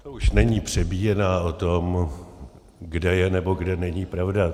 To už není přebíjená o tom, kde je nebo kde není pravda.